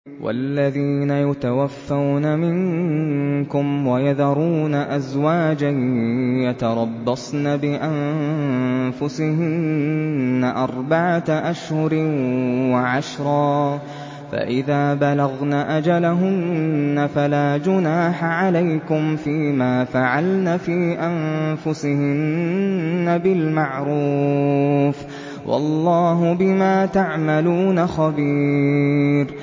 وَالَّذِينَ يُتَوَفَّوْنَ مِنكُمْ وَيَذَرُونَ أَزْوَاجًا يَتَرَبَّصْنَ بِأَنفُسِهِنَّ أَرْبَعَةَ أَشْهُرٍ وَعَشْرًا ۖ فَإِذَا بَلَغْنَ أَجَلَهُنَّ فَلَا جُنَاحَ عَلَيْكُمْ فِيمَا فَعَلْنَ فِي أَنفُسِهِنَّ بِالْمَعْرُوفِ ۗ وَاللَّهُ بِمَا تَعْمَلُونَ خَبِيرٌ